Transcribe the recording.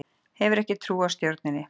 Hefur ekki trú á stjórninni